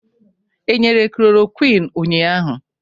E nyere chloroquine ụnyaahụ?